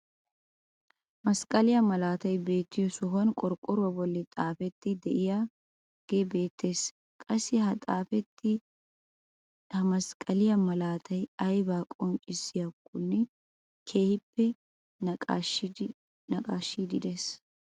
Masqqaliyaa malaatay beettiyoo sohuwaan qorqqoruwaa bolli xifatee de'iyaagee beettees. qassi ha xifatee ha masqqaliyaa malaatay aybaa qonccisiyaakone keehippe naqaashiidi de'ees.